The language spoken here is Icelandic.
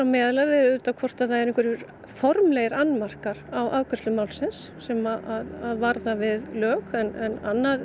meðal er auðvitað hvort eru einhverjir formlegir annmarkar á afgreiðslu málsins sem varða við lög en annað